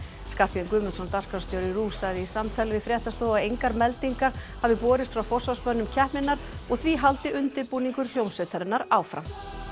Skarphéðinn Guðmundsson dagskrárstjóri RÚV sagði í samtali við fréttastofu að engar meldingar hafi borist frá forsvarsmönnum keppninnar og því haldi undirbúningi hljómsveitarinnar áfram